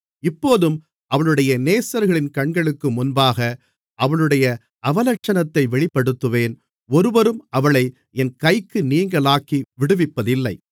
இப்போதும் அவளுடைய நேசர்களின் கண்களுக்கு முன்பாக அவளுடைய அவலட்சணத்தை வெளிப்படுத்துவேன் ஒருவரும் அவளை என் கைக்கு நீங்கலாக்கி விடுவிப்பதில்லை